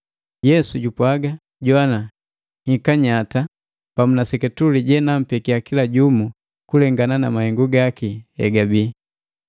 Yesu jupwaga “Jowana! Nhika nyatanyata pamu na seketule je nampekia kila jumu kulengana na mahengu gaki hegabii.